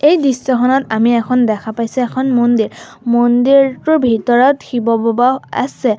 এই দৃশ্যখনত আমি এখন দেখা পাইছোঁ এখন মন্দিৰ মন্দিৰটোৰ ভিতৰত শিৱবাবাও আছে।